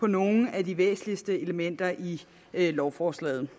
nogle af de væsentligste elementer i lovforslaget